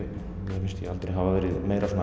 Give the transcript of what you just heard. mér finnst ég aldrei hafa verið meira mainstream